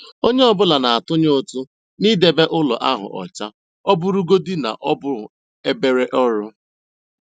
Onye ọ bụla na-atụnye ụtụ n'idebe ụlọ ahụ ọcha, ọ bụrụgodị na ọ bụ obere ọrụ.